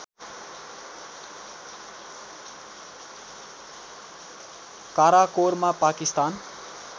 Karakoram Pakistan